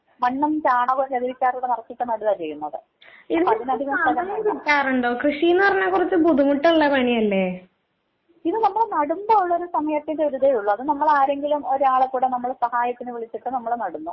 മണ്ണും ചാണകവും ചകിരിച്ചോറും ഒക്കെ നറച്ചിട്ട് നടുവാ ചെയ്യുന്നത്. അതിന് അധികം സ്ഥലം വേണ്ട. ഇത് നമ്മള് നടുമ്പോ ഉള്ളൊരു സമയത്തിന്റെ ദുരിതേ ഉള്ളു അത് നമ്മള് ആരെങ്കിലും ഒരാളെ കൂടെ നമ്മള് സഹായത്തിന് വിളിച്ചിട്ട് നമ്മള് നടുന്നു.